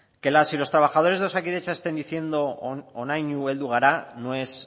que las y los trabajadores de osakidetza estén diciendo honaino heldu gara no es